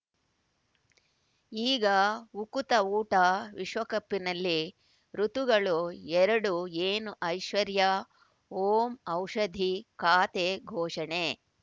ಈಗ ಉಕುತ ಊಟ ವಿಶ್ವಕಪಿನಲ್ಲಿ ಋತುಗಳು ಎರಡು ಏನು ಐಶ್ವರ್ಯಾ ಓಂ ಔಷಧಿ ಖಾತೆ ಘೋಷಣೆ